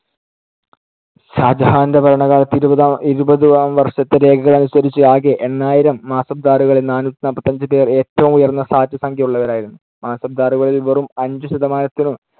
ഷാജഹാന്‍ടെ ഭരണകാലത്തെ ഇരുപതാം ഇരുപത് ആം വർഷത്തെ രേഖകൾ അനുസരിച്ച് ആകെ എണ്ണായിരം മാസബ്ദാറുകളിൽ നാനൂറ്റിനാല്പത്തിയഞ്ച് പേർ ഏറ്റവും ഉയർന്ന സാറ്റ് സംഖ്യ ഉള്ളവരായിരുന്നു. മാൻസബ്ദാറുകളിൽ വെറും അഞ്ചു ശതമാനത്തിനു